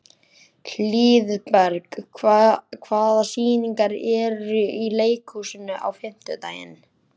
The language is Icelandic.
Hlíðberg, hvaða sýningar eru í leikhúsinu á fimmtudaginn?